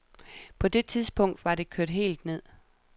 På det tidspunkt var det kørt helt ned.